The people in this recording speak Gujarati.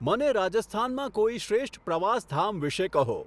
મને રાજસ્થાનમાં કોઈ શ્રેષ્ઠ પ્રવાસધામ વિષે કહો